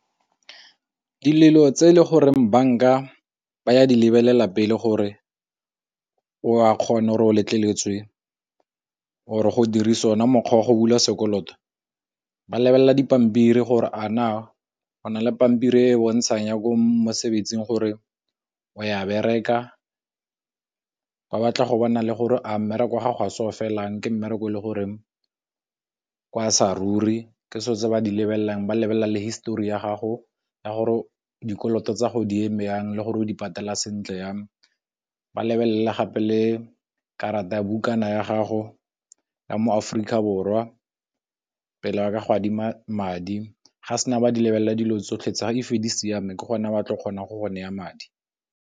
Dilo tse e le goreng banka ba ya di lebelela pele gore o a kgona gore o letleletswe or go dirisa yone mokgwa wa go bula sekoloto, ba lebelela dipampiri gore a na go na le pampiri e e bontshang ya ko mosebetsing gore o ya bereka ke batla go bona le gore a mmereko ga gase o felang, ke mmereko le gore ke sa ruri ke so tse ba di lebelelang ba lebelela histori ya gago ya gore dikoloto tsa go di eme jang le gore o di patala sentle yame ba lebelele gape le karata ya bukana ya gago ya mo Aforika Borwa pele ba ka go adima madi ga sena ba di lebelela dilo tsotlhe tsa e fa di siame ke gona ba tla kgonang go naya madi.